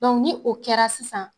ni o kɛra sisan